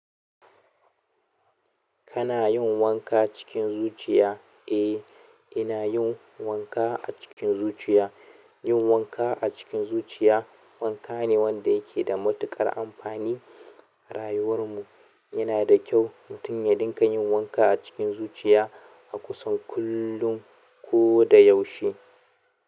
Kana yin wanka cikin zuciya? Eh, ina yin wanka a cikin zuciya. Yin wanka a cikin zuciya, wanka ne wanda yake da matuƙar amfani a rayuwar mu. Yana da kyau mutum ya dinga yin wanka a cikin zuciya a kusan kullum ko da yaushe.